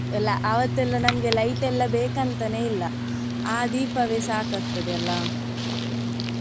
ಎಲ್ಲ ಅವತ್ತೆಲ್ಲ ನಮ್ಗೆ light ಎಲ್ಲ ಬೇಕಂತನೇ ಇಲ್ಲ ಆ ದೀಪವೇ ಸಾಕಾಗ್ತದೆ ಅಲ್ಲ.